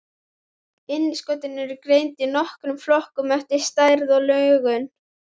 Innskotin eru greind í nokkra flokka eftir stærð og lögun.